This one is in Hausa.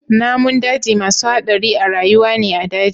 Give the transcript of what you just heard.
Namun daji masu hadari a rayuwa ne a daji.